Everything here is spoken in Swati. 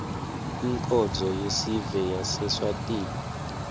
inkonzo yesive yaseswatini